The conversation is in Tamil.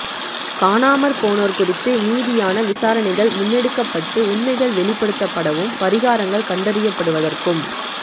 காணாமற்போனோர் குறித்து நீதியான விசாரணைகள் முன்னெடுக்கப்பட்டு உண்மைகள் வெளிப்படுத்தப்படவும் பரிகாரங்கள் கண்டறியப்படுவதற்கும்